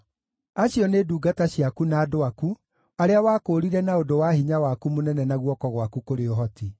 “Acio nĩ ndungata ciaku na andũ aku, arĩa wakũũrire na ũndũ wa hinya waku mũnene na guoko gwaku kũrĩ ũhoti.